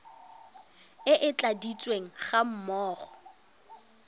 e e tladitsweng ga mmogo